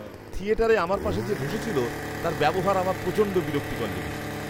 থিয়েটারে আমার পাশে যে বসেছিল, তার ব্যবহার আমার প্রচণ্ড বিরক্তিকর লেগেছে।